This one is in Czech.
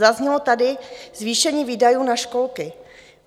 Zaznělo tady zvýšení výdajů na školky.